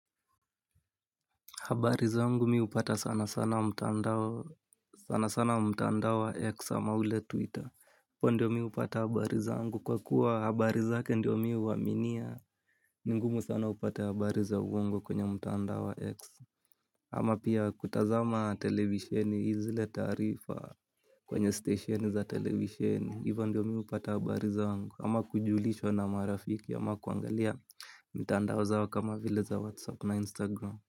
Habari zangu mi hupata sana sana mtandao sana sana mtandao wa x ama ule twitter hapo ndio mi hupata habari zangu kwakua habari zake ndio mi huaminia. Ni ngumu sana upata habari za uwongo kwenye mtandao wa X. Ama pia kutazama televisheni zile taarifa kwenye station za televisheni. Hivyo ndio mimi hupata habari zangu. Ama kujulishwa na marafiki ama kuangalia mitandao zao kama vile za Whatsapp na Instagram.